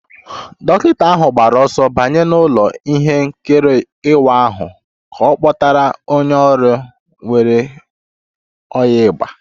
Dọkịta ahụ gbara ọsọ banye n'ụlọ ihe nkiri ịwa ahụ ka a kpọtara onye ọrịa nwere ọnyá égbè